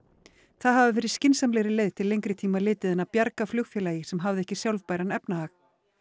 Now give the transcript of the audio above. það hafi verið skynsamlegri leið til lengri tíma litið en að bjarga flugfélagi sem hafði ekki sjálfbæran efnahag